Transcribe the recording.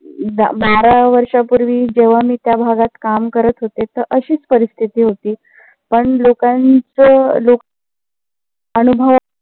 बारा वर्षा पूर्वी जेंव्हा मी त्या भागात काम करत होते तर अशीच परिस्थिती होती. पण लोकांच लोक अनुभव